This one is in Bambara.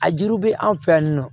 A juru bɛ anw fɛ yan nɔ